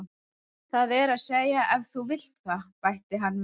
Það er að segja ef þú vilt það, bætti hann við.